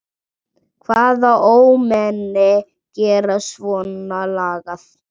Hvaða ómenni gera svona lagað?